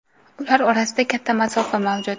Ular orasida katta masofa mavjud.